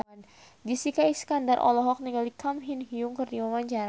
Jessica Iskandar olohok ningali Kang Min Hyuk keur diwawancara